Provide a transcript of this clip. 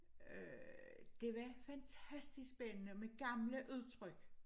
Øh det var fantastisk spændende med gamle udtryk